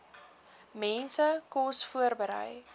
mense kos voorberei